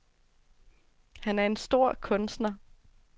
Han er en stor kunstner.